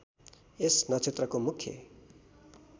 यस नक्षत्रको मुख्य